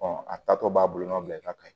a taatɔ b'a bulon nɔ bila ka